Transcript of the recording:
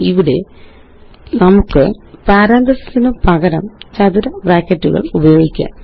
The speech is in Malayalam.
ഇവിടെ നമുക്ക് പാരന്തസിസിനു പകരം ചതുര ബ്രാക്കറ്റുകളുപയോഗിക്കാം